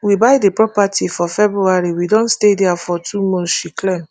we buy di property for february we don stay dia for two months she claim